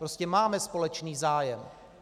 Prostě máme společný zájem.